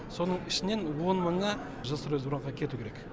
соның ішінен он мыңы жилстройсбербанкқа кету керек